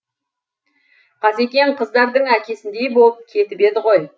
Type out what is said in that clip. қазекең қыздардың әкесіндей болып кетіп еді ғой